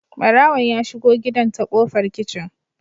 Barawon ya shigo gidan ta kofar kicin